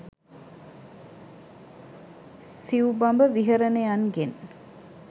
සිවු බඹ විහරණයන්ගෙන්